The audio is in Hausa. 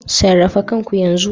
Sarrafa kanku yanzu